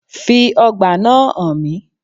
Fi ọgbà náà hàn mí